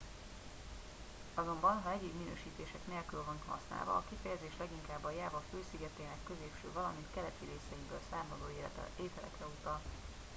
azonban ha egyéb minősítések nélkül van használva a kifejezés leginkább a jáva fő szigetének középső valamint keleti részeiből származó ételekre utal